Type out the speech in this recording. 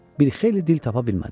Bir xeyli dil tapa bilmədilər.